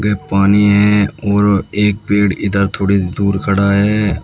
ये पानी है और एक पेड़ इधर थोड़ी दूर खड़ा है।